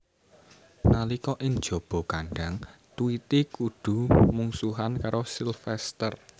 Nalika ing jaba kandhang Tweety kudu mungsuhan karo Sylvester